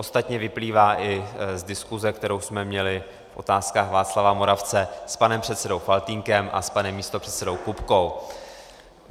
Ostatně vyplývá i z diskuse, kterou jsme měli v Otázkách Václava Moravce s panem předsedou Faltýnkem a s panem místopředsedou Kupkou.